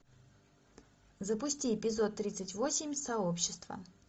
запусти эпизод тридцать восемь сообщество